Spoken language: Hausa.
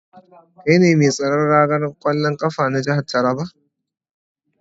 Kai ne mai tsaron ragar kwallon kafa na jihar Taraba?